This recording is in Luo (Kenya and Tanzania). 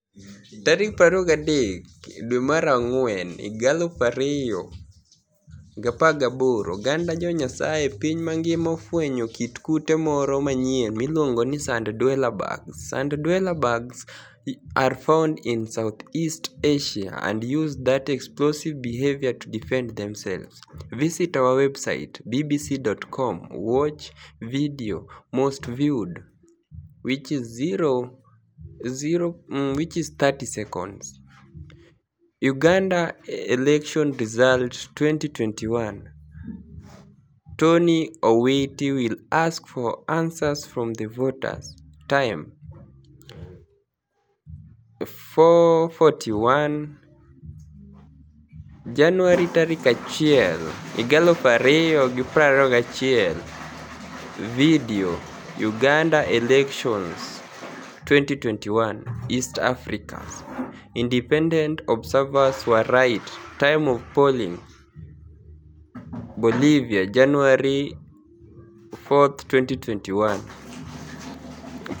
23 April 2018 Oganida josayanis e piniy manigima ofweniyo kit kute moro maniyieni miluonigo nii sanid-dweller bugs sanid-dwellers bugs are founid ini Southeast Asia anid use that explosive behaviour to defenid themselves. visit our website bbc.com watch video Most viewed 0:30 Video, Uganida Electioni Results 2021:Toniy Owiti will ask for aniswers from the voters, Time 4:415:30 Janiuary 01, 2021 Video, Uganida Electionis 2021: East Africa's inidepenidenit observers were right Time of pollinig, Bolivia Janiuary 4, 2021